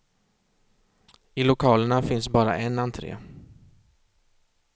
I lokalerna finns bara en entré.